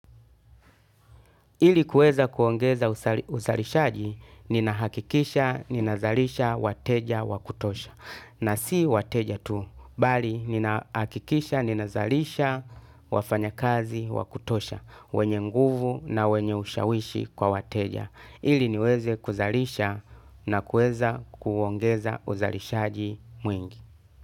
Ili kuweza kuongeza uzalishaji, ninahakikisha, ninazalisha, wateja, wa kutosha. Na si wateja tu, bali ninahakikisha, ninazalisha, wafanya kazi, wa kutosha, wenye nguvu na wenye ushawishi kwa wateja. Ili niweze kuzalisha na kuweza kuongeza uzalishaji mwingi.